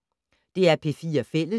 DR P4 Fælles